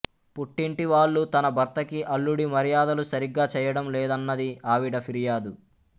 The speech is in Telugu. పుట్టింటి వాళ్ళు తన భర్తకి అల్లుడి మర్యాదలు సరిగ్గా చేయడం లేదన్నది ఆవిడ ఫిర్యాదు